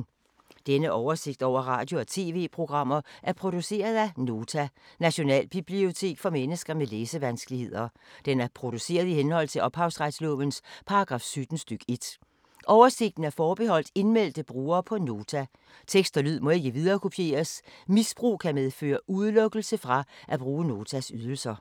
Denne oversigt over radio og TV-programmer er produceret af Nota, Nationalbibliotek for mennesker med læsevanskeligheder. Den er produceret i henhold til ophavsretslovens paragraf 17 stk. 1. Oversigten er forbeholdt indmeldte brugere på Nota. Tekst og lyd må ikke viderekopieres. Misbrug kan medføre udelukkelse fra at bruge Notas ydelser.